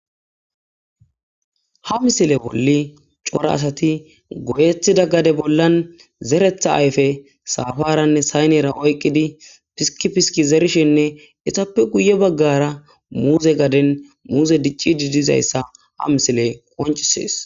Ha misile bolli cora asati goyetida gade bollan zeretha ayfe safaranne saynera oykidi piski piski zerishin izappe guye baggara muuze gaden uzey dicidi dizayssa ha misiley qoncisees.